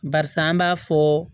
Barisa an b'a fɔ